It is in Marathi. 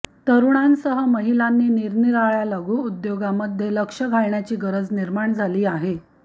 तरुणांसह महिलांनी निरनिराळया लघु उद्योगामध्ये लक्ष घालण्याची गरज निर्माण झाली आहे